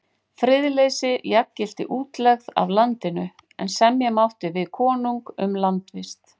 Friðleysi jafngilti útlegð af landinu, en semja mátti við konung um landvist.